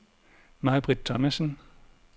Maibritt Thomasen